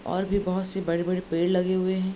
और भी बहुत से बड़े-बड़े पेड़ लगे हुए हैं।